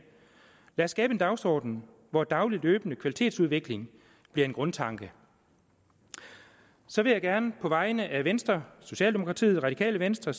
lad os skabe en dagsorden hvor daglig løbende kvalitetsudvikling bliver en grundtanke så vil jeg gerne på vegne af venstre socialdemokratiet radikale venstre